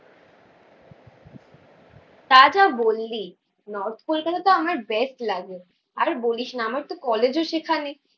তা যা বললি। নর্থ কোলকাতাতো আমার বেস্ট লাগে। আর বলিসনা আমার তো কলেজও সেখানে